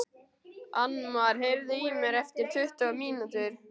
Annmar, heyrðu í mér eftir tuttugu mínútur.